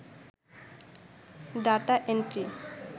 data entry